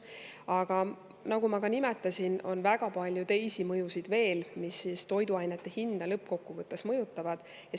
Aga nagu ma ka nimetasin, on väga palju teisi mõjusid veel, mis toiduainete hinda lõppkokkuvõttes mõjutavad.